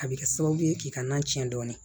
A bɛ kɛ sababu ye k'i ka nan ciɲɛ dɔɔni